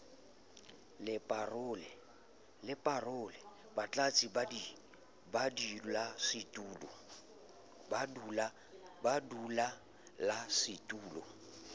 le parole batlatsi ba badulasetulo